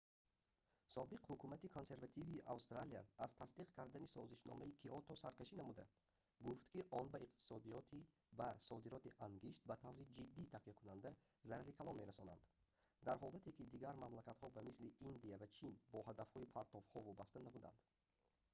собиқ ҳукумати консервативии австралия аз тасдиқ кардани созишномаи киото саркашӣ намуда гуфт ки он ба иқтисодиёти ба содироти ангишт ба таври ҷиддӣ такякунанда зарари калон мерасонанд дар ҳолате ки дигар мамлакатҳо ба мисли индия ва чин бо ҳадафҳои партовҳо вобаста набуданд